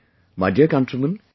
My dear countrymen,